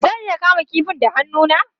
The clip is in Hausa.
Zan iya kama kifin da hannu na?